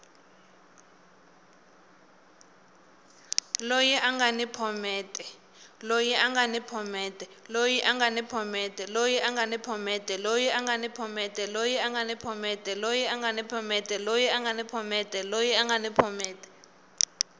loyi a nga ni phomete